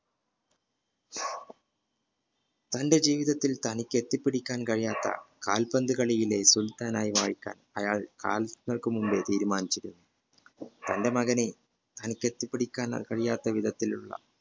തന്റെ ജീവിതത്തിൽ തനിക് എത്തിപിടിക്കാൻകഴിയാത്ത കാല്പന്തു കളിയിലെ സുൽത്താനായി വാഴിക്കാൻ അയാൾ മുൻപ് തീരുമാനിച്ചിരുന്നു തന്റെ മകനെ തനിക് എത്തിപിടിക്കാൻ കഴിയാത്തവിധത്തിലുള